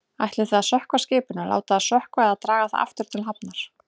Ætlið þið að sökkva skipinu, láta það sökkva eða draga það aftur til hafnar?